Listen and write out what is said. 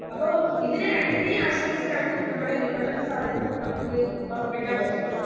അപ്പൊ ഇതിനെ രണ്ടിനെയും ആശ്രയിച്ചിട്ടാണ് നമ്മടെ വിപണന സാധ്യത നമുക്ക് ഒറപ്പിക്കാൻ പറ്റുന്നത്.